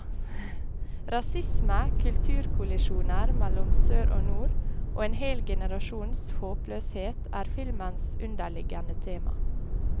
Rasisme, kulturkollisjoner mellom sør og nord, og en hel generasjons håpløshet er filmens underliggende tema.